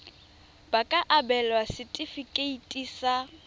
ba ka abelwa setefikeiti sa